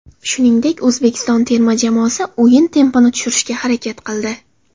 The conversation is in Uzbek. Shuningdek, O‘zbekiston terma jamoasi o‘yin tempini tushirishga harakat qildi.